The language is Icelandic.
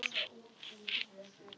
Markið hvað viltu segja um það?